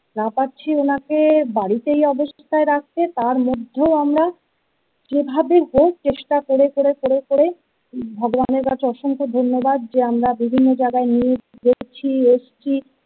না পারছি ওনাকে বাড়িতে এই অবস্থায় রাখতে তার মধ্যেও আমরা, যেভাবে হোক চেষ্টা করে করে করে করে করে ভগবানের কাছে অসংখ্য ধন্যবাদ, যে আমরা বিভিন্ন জায়গায় নিয়ে দেখছি এসছি!